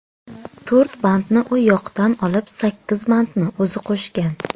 To‘rt bandni u yoqdan olib, sakkiz bandni o‘zi qo‘shgan.